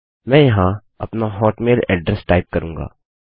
मैं यहाँ अपना हॉटमेल एड्रेस टाइप करूँगा